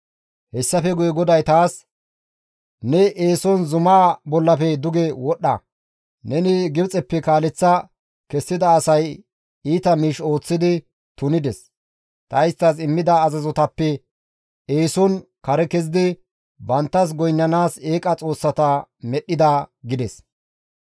Hessafe guye GODAY taas, «Ne eeson zumaa bollafe duge wodhdha; neni Gibxeppe kaaleththa kessida asay iita miish ooththidi tunides; ta isttas immida azazotappe eeson kare kezidi banttas goynnanaas eeqa xoossata medhdhida» gides.